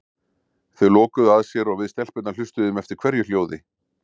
Þau lokuðu að sér og við stelpurnar hlustuðum eftir hverju hljóði.